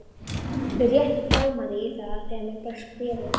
Mig rétt rámaði í það þegar mér barst bréfið.